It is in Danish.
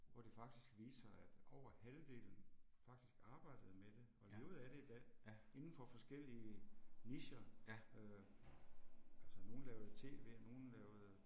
Hvor det faktisk viste sig at over halvdelen faktisk arbejdede med det og levede af det i dag indenfor forskellige nicher øh. Altså nogle lavede tv og nogle lavede